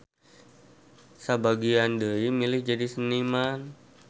Sabagian deui milih jadi seniman.